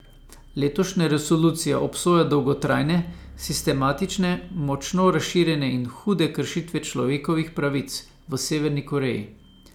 Letošnja resolucija obsoja dolgotrajne, sistematične, močno razširjene in hude kršitve človekovih pravic v Severni Koreji.